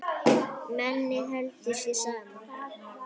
Mennið heldur sér saman.